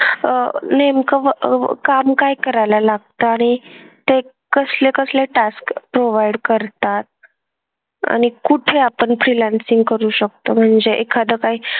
अह नेमकं व अह व काम काय करायला लागतं आणि ते कसले कसले task provide करतात? आणि कुठे आपण freelancing करू शकतो म्हणजे एखादं काही,